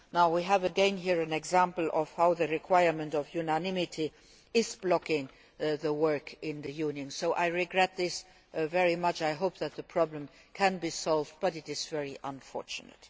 January. Now, we have again here an example of how the requirement of unanimity is blocking the work in the Union, so I regret this very much and I hope that the problem can be solved, but it is very unfortunate.